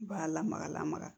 B'a lamaga lamaga